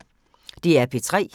DR P3